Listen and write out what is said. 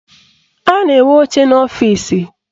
A na-enwe oche n'ọfịsi